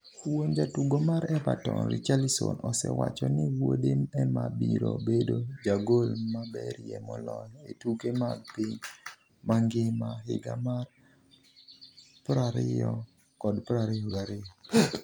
Wuon jatugo mar Everton, Richarlison, osewacho ni wuode ema biro bedo jagol maberie moloyo e tuke mag piny mangima higa mar 2022.